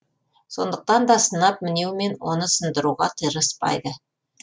сондықтан да сынап мінеумен оны сындыруға тырыспайды